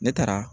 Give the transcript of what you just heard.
Ne taara